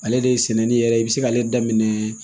Ale de sɛnɛni yɛrɛ i be se k'ale daminɛ